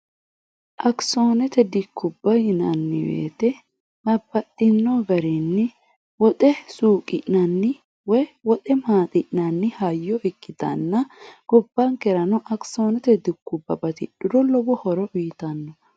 akisoonete dikkubba yinanniweete mapaxxinoo barienni woxe suuqi'nanni w woxe maaxi'nanni hayyo ikkitanna gobbaankerano akisoonote dikkubbabti dhuro lobo horo wiitanno